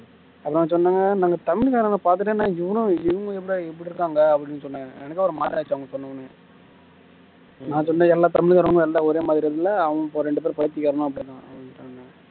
அப்புறம் நாங்க சொன்னாங்க நாங்க தமிழ் காரங்களை பாத்துட்டு என்ன இவனு இவங்களும் எப்படிடா இப்படி இருக்காங்க அப்படின்னு சொன்னாங்க எனக்கே ஒரு மாதிரி ஆயிடுச்சு அவங்க சொன்ன உடனே நான் சொன்னேன் எல்லா தமிழ்காரங்க எல்லாம் ஒரே மாதிரி இல்ல அவங்க ரெண்டு பேரும் பைத்தியக்காரனுங்க அப்படின்னு